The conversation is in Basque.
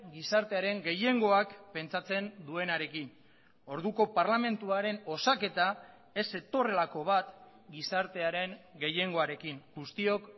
gizartearen gehiengoak pentsatzen duenarekin orduko parlamentuaren osaketa ez zetorrelako bat gizartearen gehiengoarekin guztiok